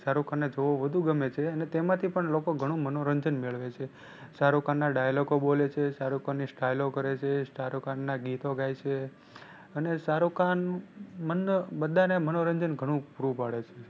શાહરુખ ખાન ને જોવો વધુ ગમે છે અને તેમાંથી પણ લોકો ઘણું મનોરંજન મેળવે છે. શાહરુખ ખાન ના ડાયલોગો બોલે છે, શાહરુખ ખાન ની સ્ટાયલો કરે છે, શાહરુખ ખાન ના ગીતો ગાય છે અને શાહરુખ ખાન મન બધા ને મનોરંજન ઘણું પૂરું પાડે છે.